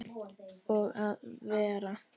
Og að vera